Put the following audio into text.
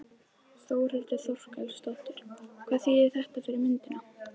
Þórhildur Þorkelsdóttir: Hvað þýðir þetta fyrir myndina?